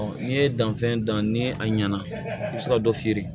n'i ye dannifɛn dan ni a ɲɛna i bi se ka dɔ feere